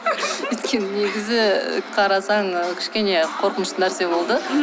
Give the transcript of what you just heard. өйткені негізі қарасаң ы кішкене қорқынышты нәрсе болды